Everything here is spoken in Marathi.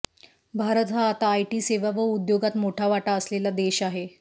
भारत हा आता आयटी सेवा व उद्योगात मोठा वाटा असलेला देश आहे